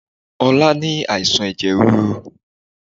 Ọlá ni àìsàn ẹ̀jẹ̀ ríru